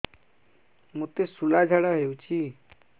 ମୋତେ ଶୂଳା ଝାଡ଼ା ହଉଚି